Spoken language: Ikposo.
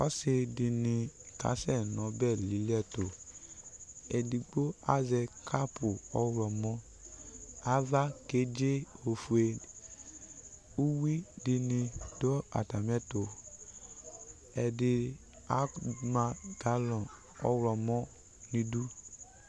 Ɔsɩ dɩnɩ kasɛ nʋ ɔbɛ lili ɛtʋ Edigbo azɛ kapʋ ɔɣlɔmɔ Ava kedze ofue Uyui dɩnɩ dʋ atamɩɛtʋ Ɛdɩ ama galɔn ɔɣlɔmɔ nʋ idu